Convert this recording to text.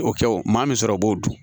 O kɛ o maa min sɔrɔ o b'o dun